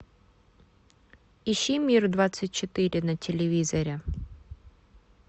ищи мир двадцать четыре на телевизоре